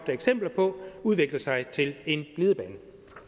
eksempler på udvikler sig til en glidebane